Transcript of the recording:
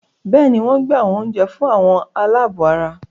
Bẹ́ẹ̀ni, wọ́n gbé àwọn oúnjẹ fún "àwọn aláàbọ̀ ara”